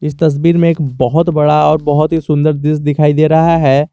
इस तस्वीर में एक बहोत बड़ा और बहुत ही सुंदर दृश्य दिखाई दे रहा है।